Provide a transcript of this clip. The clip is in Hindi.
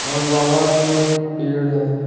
मैं बाहर में एक पेड़ है।